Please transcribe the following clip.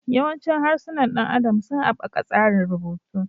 Yawancin harsunan ɗan adam sun haɓaka tsarin rubutu.